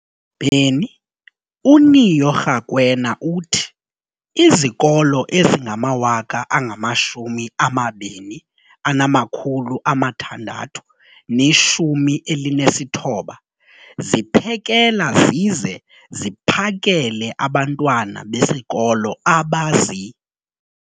beni, uNeo Rakwena, uthi izikolo ezingama-20 619 ziphekela zize ziphakele abantwana besikolo abazi-